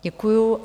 Děkuji.